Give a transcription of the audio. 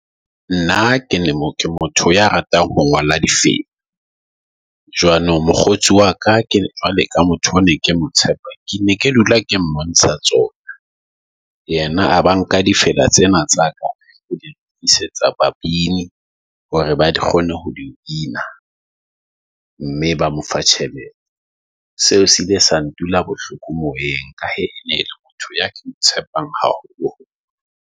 Nna kene, mo ke motho ya ratang ho ngola di feng . Jwanong mokgotsi wa ka ke jwale ka motho o ne ke motsepe, ke ne ke dula ke mmontsha tsona. Yena a ba nka difela tsena tsa ka. Ke di lokisetsa babini hore ba di kgone ho di bina, . Mme ba mo fa tjhelete, seo se iile sa ndula bohloko moyeng ka ha ke tshepang haholo.